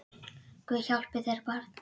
Guð hjálpi þér barn!